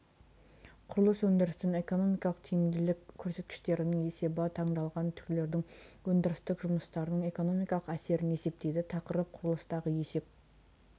құрылыс өндірісінің экономикалық тиімділік көрсеткіштерінің есебі таңдалған түрлердің өндірістік жұмыстарының экономикалық әсерін есептейді тақырып құрылыстағы есеп